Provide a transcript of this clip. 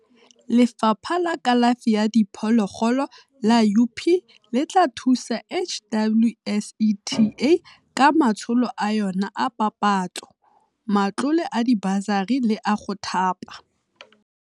Lefapha la Kalafi ya Diphologolo la UP le tla thusa HWSETA ka matsholo a yona a papatso, matlole a dibasari le a go thapa.